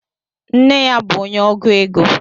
Nne ya bu onye ọgụ égo